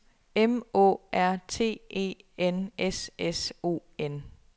M Å R T E N S S O N